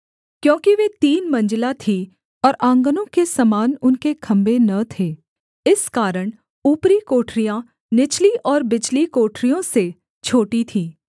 क्योंकि वे तीन मंजिला थीं और आँगनों के समान उनके खम्भे न थे इस कारण ऊपरी कोठरियाँ निचली और बिचली कोठरियों से छोटी थीं